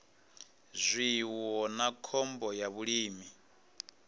zwiwo na khombo ya vhulimi